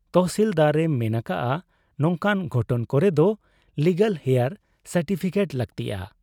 ᱛᱚᱦᱥᱤᱞᱫᱟᱨ ᱮ ᱢᱮᱱ ᱟᱠᱟᱜ ᱟ ᱱᱚᱝᱠᱟᱱ ᱜᱷᱚᱴᱚᱱ ᱠᱚᱨᱮᱫᱚ ᱞᱤᱜᱟᱞᱦᱮᱭᱟᱨ ᱥᱟᱨᱴᱤᱯᱷᱤᱠᱮᱴ ᱞᱟᱹᱠᱛᱤᱜ ᱟ ᱾